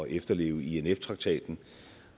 efterleve inf traktaten